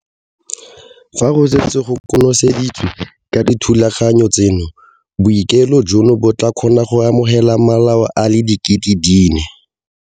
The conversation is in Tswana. Fa go setse go konoseditswe ka dithulaganyo tseno, bookelo jono bo tla kgona go amogela malao a le 4 000.